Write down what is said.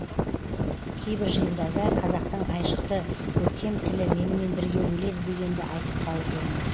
кейбір жиындарда қазақтың айшықты көркем тілі менімен бірге өледі дегенді айтып қалып жүрмін